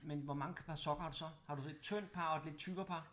Men hvor mange par sokker har du så har du så et tyndt par og et lidt tykkere par?